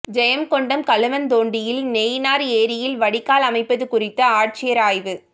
ஜெயங்கொண்டம் கழுவந்தோண்டியில் நைனார் ஏரியில் வடிகால் அமைப்பது குறித்து ஆட்சியர் ஆய்வு